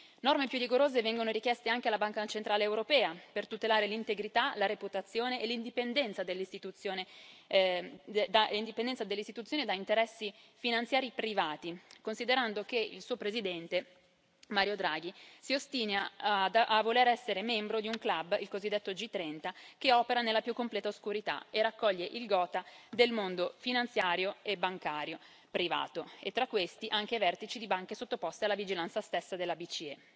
Norme più rigorose vengono richieste anche alla Banca centrale europea, per tutelare l'integrità, la reputazione e l'indipendenza dell'Istituzione da interessi finanziari privati, considerando che il suo Presidente, Mario Draghi, si ostina a voler essere membro di un club, il cosiddetto G30, che opera nella più completa oscurità e raccoglie il gotha del mondo finanziario e bancario privato, tra questi anche i vertici di banche sottoposte alla vigilanza stessa della BCE.